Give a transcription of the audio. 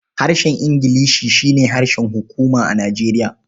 Harshen Ingilishi shi ne harshen hukuma a Nijeriya.